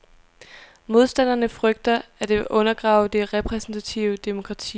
Modstanderne frygter, at det vil undergrave det repræsentative demokrati.